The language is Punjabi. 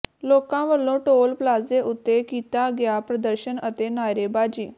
ਲੋਕਾਂ ਵੱਲੋਂ ਟੋਲ ਪਲਾਜ਼ੇ ਉੱਤੇ ਕੀਤਾ ਗਿਆ ਪ੍ਰਦਰਸ਼ਨ ਅਤੇ ਨਾਅਰੇਬਾਜ਼ੀ